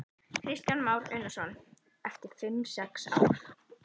Kristján Már Unnarsson: Eftir fimm sex ár?